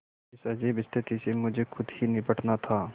इस अजीब स्थिति से मुझे खुद ही निबटना था